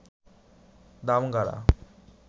Damgara